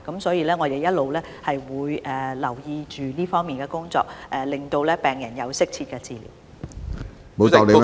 因此，我們會不斷留意這方面的工作，讓病人獲得適切治療。